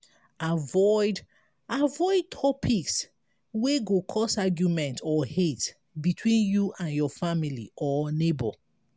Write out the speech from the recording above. avoid avoid topics wey go cause auguement or hate between you and your family or neigbour